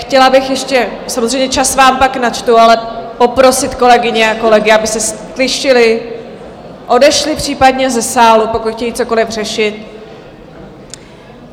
Chtěla bych ještě - samozřejmě čas vám pak načtu - ale poprosit kolegyně a kolegy, aby se ztišili, odešli případně ze sálu, pokud chtějí cokoliv řešit.